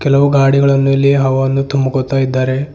ಕೆಲವು ಗಾಡಿಗಳನ್ನು ಇಲ್ಲಿ ಹಾವನ್ನು ತುಂಬ್ಕೋತಾ ಇದ್ದಾರೆ.